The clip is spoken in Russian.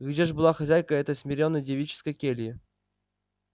где ж была хозяйка этой смирённой девической кельи